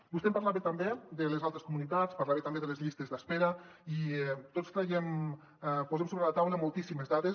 vostè em parlava també de les altres comunitats parlava també de les llistes d’espera i tots posem sobre la taula moltíssimes dades